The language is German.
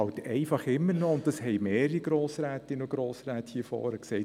– Das haben mehrere Grossrätinnen und Grossräte hier am Rednerpult gesagt: